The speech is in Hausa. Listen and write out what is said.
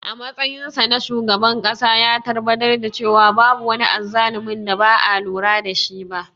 A matsayinsa na shugaban ƙasa, ya tabbatar da cewa babu wani azzalumi da ba a lura da shi ba.